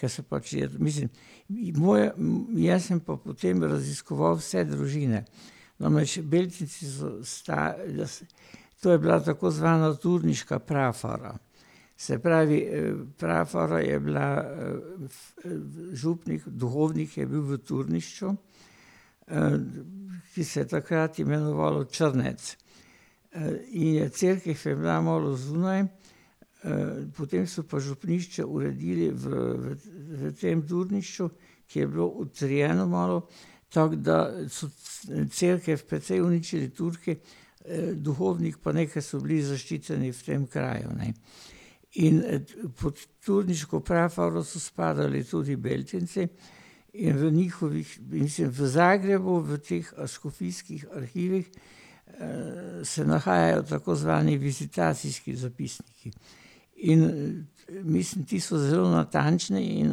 ker se pač je, mislim ... Moje, jaz sem pa potem raziskoval vse družine. No, naši Beltinci so jaz ... To je bila tako znana Turniška prafara. Se pravi, prafara je bila, v ... župnik, duhovnik je bil v Turnišču, ki se je takrat imenoval Črnec. in je cerkvi, ko je bila malo zunaj, potem so pa župnišče uredili v, v tem Turnišču, ki je bilo utrjeno malo, tako da so cerkev precej uničili Turki. duhovnik pa neki so bili zaščiteni v tem kraju, ne. In, pod turniško prafaro so spadali tudi Beltinci in v njihovih, mislim v Zagrebu, v teh škofijskih arhivih, se nahajajo tako znani vizitacijski zapisniki. In mislim, ti so zelo natančni in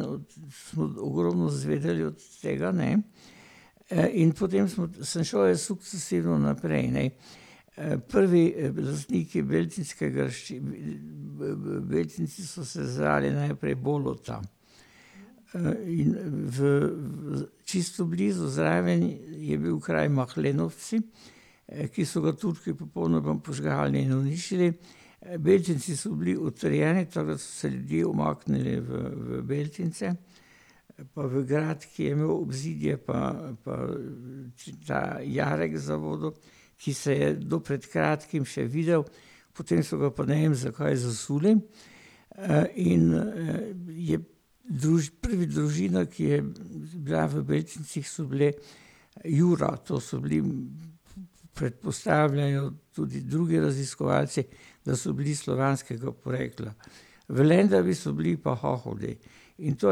od ... Smo ogromno izvedeli od tega, ne. in potem smo, sem šel jaz sukcesivno naprej, ne. prvi lastniki beltinške graščine, ne. V, v Beltincih so se zdravili najprej bolj od tam. in v, v, čisto blizu, zraven je bil kraj Mahlenovci, ki so ga Turki popolnoma požgali in uničili, Beltinci so bili utrjeni, tako da so se ljudje umaknili v, v Beltince pa v grad, ki je imel obzidje pa, pa ta jarek za vodo, ki se je do pred kratkim še videl, potem so ga pa, ne vem, zakaj, zasuli. in, je prva družina, ki je bila v Beltincih, so bili Jura, to so bili, predpostavljajo tudi drugi raziskovalci, da so bili slovanskega porekla. V Lendavi so bili pa Hohodi. In to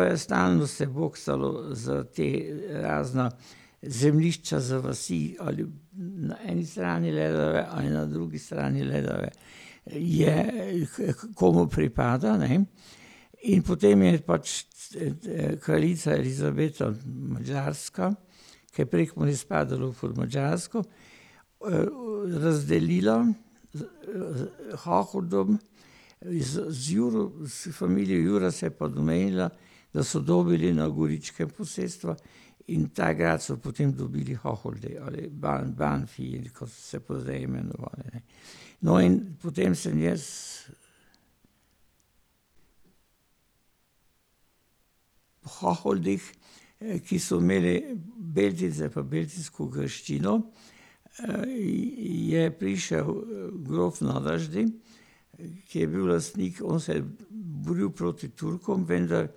je stalno se boksalo za te, razna zemljišča, za vasi ali ... Na eni strani Ledave ali na drugi strani Ledave je, h komu pripada, ne. In potem je pač vse te kraljica Elizabeta Madžarska, ker Prekmurje je spadalo pod Madžarsko, razdelila, Hohodom, iz, z iz familije Juro se je pa domenila, da so dobili na Goričkem posestva, in ta grad so potem dobili Hohordejovi ali Banbanfiji, kot so se pa zdaj imenovali, ne. No, in potem sem jaz ... Hohodih, ki so imeli Beltince pa beltinsko graščino, je prišel grof na Vrždi, ki je bil lastnik, on se je boril proti Turkom, vendar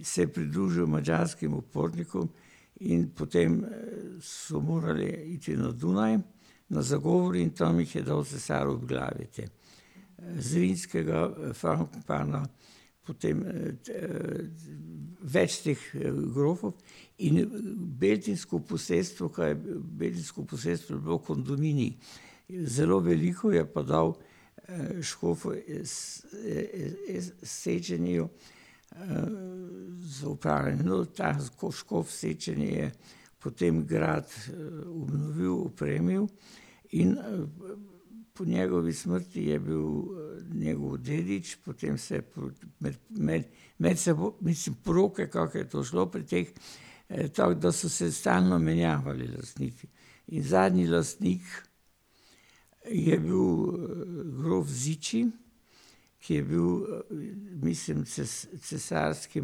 se je pridružil madžarskim upornikom in potem so morali iti na Dunaj na zagovor in tam jih je dal cesar obglaviti. Zviljskega Frankopana, potem, več teh grofov, in je, beltinsko posestvo, ka je bil, beltinsko posestvo je bilo kondominij. Zelo veliko je pa dal škofu iz, Széchenyiju, so opravili. No, ta škof Széchenyi je potem grad obnovil, opremil in po njegovi smrti je bil njegov dedič, potem se je med, med, med mislim, poroke, kako je to šlo pri teh, tako da so se stalno menjavali lastniki. In zadnji lastnik je bil, grof Zichy, ki je bil, mislim, cesarski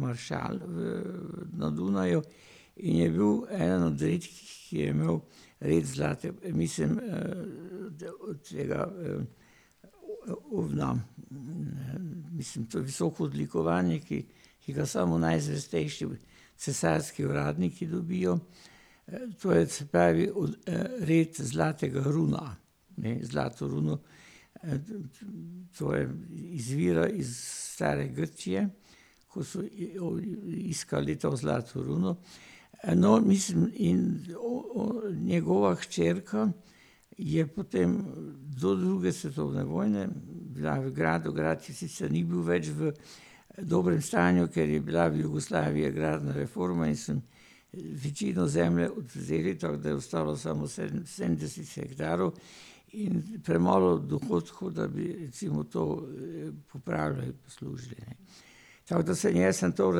maršal v, na Dunaju, in je bil en on redkih, ki je imel res zlate, pa mislim, da bo od tega, ovna. Mislim, to je visoko odlikovanje, ki, ki ga samo najzvestejši cesarski uradniki dobijo. To je, se pravi, od red zlatega runa. Ne, zlato runo, to je, izvira iz stare Grčije, ko so jo, iskali to zlato runo. no, mislim, in njegova hčerka je potem do druge svetovne vojne bila v gradu, grad, ki sicer ni bil več v dobrem stanju, ker je bila v Jugoslaviji agrarna reforma in so večino zemlje odvzeli, tako da je ostalo samo sedemdeset hektarov, in premalo dohodkov, da bi recimo to popravili in zaslužili, ne. Tako da sem jaz sem to,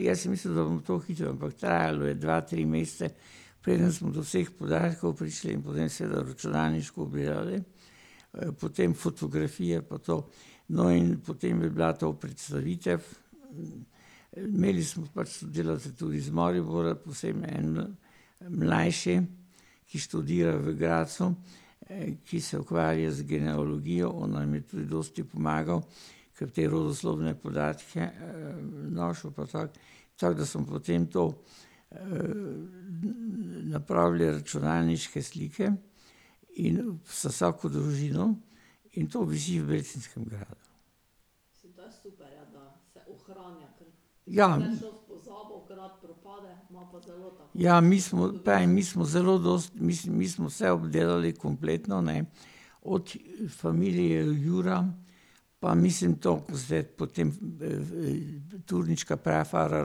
jaz sem mislil, da bom to hitro, ampak trajalo je dva, tri mesece, preden smo do vseh podatkov prišli, in potem seveda računalniško gledali potem fotografije pa to. No, in potem bi bila to predstavitev. Imeli smo par sodelavcev tudi iz Maribora, posebno en mlajši, ki študira v Gradcu, ki se ukvarja z genealogijo, on nam je tudi dosti pomagal, katere osnovne podatke, našel pa tako. Tako da smo potem to, napravili računalniške slike in z vsako družino ... In to visi v Beltinskem gradu. Ja. Ja, mi smo, pravim, mi smo zelo dosti, mislim, mi smo vse obdelali kompletno, ne, od familije Jura, pa mislim to potem v ... Turniška prafara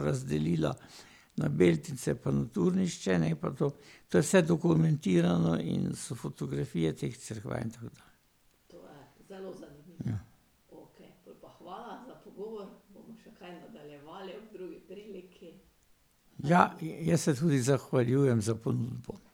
razdelila na Beltince pa na Turnišče, ne, pa to. To je vse dokumentirano in so fotografije teh cerkva in tako dalje. Ja. Jaz se tudi zahvaljujem za ponudbo.